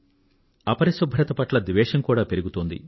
అపరిశుభ్రత పట్ల ద్వేషం కూడా పెరుగుతోంది